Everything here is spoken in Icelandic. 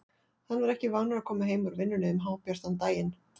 Hann var ekki vanur að koma heim úr vinnunni um hábjartan daginn.